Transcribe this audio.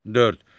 Dörd.